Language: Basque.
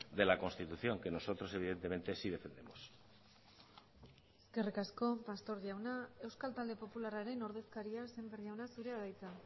de la constitución que nosotros evidentemente sí defendemos eskerrik asko pastor jauna euskal talde popularraren ordezkaria sémper jauna zurea da hitza